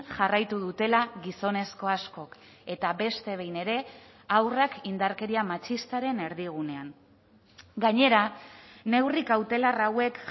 jarraitu dutela gizonezko askok eta beste behin ere haurrak indarkeria matxistaren erdigunean gainera neurri kautelar hauek